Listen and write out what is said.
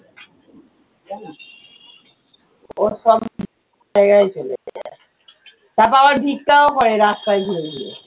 তারপর আবার ভিক্ষাও করে রাস্তায় ঘুরে ঘুরে।